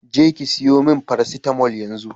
je ki siyo min paracetamol yanzu